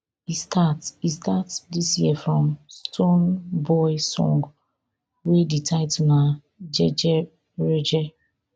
e start e start dis year from stonebwoy song wey di title na jejereje